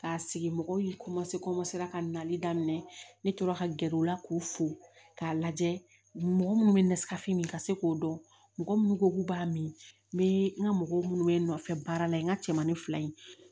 K'a sigi mɔgɔw ye komase ka nali daminɛ ne tora ka gɛrɛ u la k'u fo k'a lajɛ mɔgɔ minnu bɛ nasirafini ka se k'o dɔn mɔgɔ minnu ko k'u b'a min n bɛ n ka mɔgɔw minnu bɛ n nɔfɛ baara la yen n ka cɛmani fila in